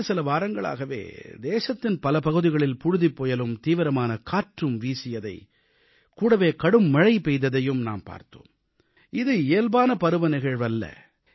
கடந்த சில வாரங்களாகவே தேசத்தின் பல பகுதிகளில் புழுதிப்புயலும் தீவிரமான காற்று வீசியதையும் கூடவே கடும்மழை பெய்ததையும் நாம் பார்த்தோம் இது இயல்பான பருவநிகழ்வல்ல